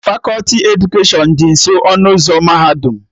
Fakọti edukeshọn dị nso ọnụ ụzọ mahadum